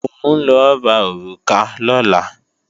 Mò ń lọ ra òrùka lọ́la